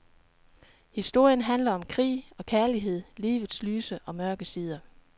Historien handler om krig og kærlighed, livets lyse og mørke sider.